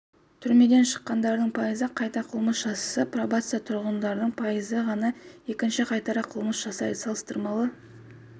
оның айтуынша бүгінгі стратегиялық жобаның мақсаты қылмыстық-атқару жүйесі мекемелерінде жазасын өтеп шыққандарға біріншіден үй-жайын қарастыру екіншіден